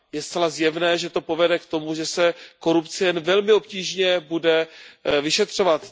Je zcela zjevné, že to povede k tomu, že se korupce jen velmi obtížně bude vyšetřovat.